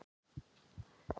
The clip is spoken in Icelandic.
Hvað reykja margir á Íslandi?